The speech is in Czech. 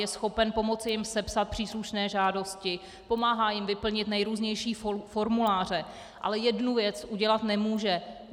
Je schopen pomoci jim sepsat příslušné žádosti, pomáhá jim vyplnit nejrůznější formuláře, ale jednu věc udělat nemůže.